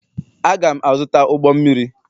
Aga'm -azụta ụgbọ mmiri